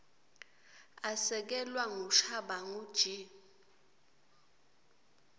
asekelwa ngushabangu g